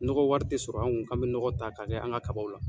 Nɔgɔ wari tɛ sɔrɔ an kun k'an bɛ nɔgɔ ta k'a kɛ an ka kabaw la.